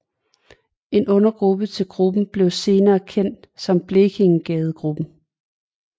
En undergruppe til gruppen blev senere kendt som Blekingegadegruppen